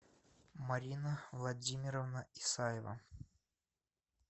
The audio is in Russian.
марина владимировна исаева